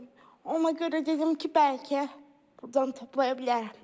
Ona görə dedim ki, bəlkə buradan toplaya bilərəm.